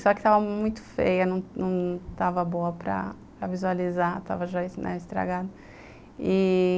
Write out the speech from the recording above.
Só que estava muito feia, não não estava boa para visualizar, estava estragado.